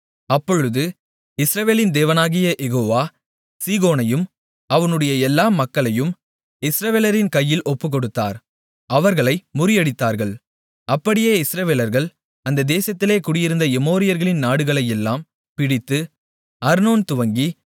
அப்பொழுது இஸ்ரவேலின் தேவனாகிய யெகோவா சீகோனையும் அவனுடைய எல்லா மக்களையும் இஸ்ரவேலரின் கையில் ஒப்புக்கொடுத்தார் அவர்களை முறியடித்தார்கள் அப்படியே இஸ்ரவேலர்கள் அந்த தேசத்திலே குடியிருந்த எமோரியர்களின் நாடுகளையெல்லாம் பிடித்து அர்னோன் துவக்கி